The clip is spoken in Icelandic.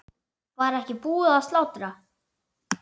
Var ekki búið að slátra?